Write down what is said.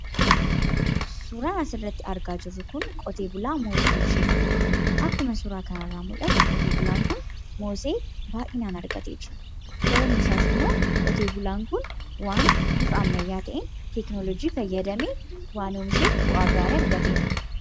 Suuraan asirratti argaa jirru kun qotee bulaa Moosee oomishee jirudha. Akkuma suuraa kanarratti mul'atu qotee bulaan kun moosee baay'inaan argatee jira. Sababni isaas qotee bulaan kun waan karaa bifa haaraa ta'een teekinooloojii fayyadamee waan oomisheef bu'aa gaarii argateera.